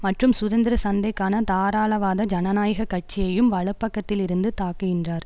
மற்றும் சுதந்திர சந்தைக்கான தாராளவாத ஜனநாயக கட்சியையும் வலபக்கத்தில் இருந்து தாக்குகின்றார்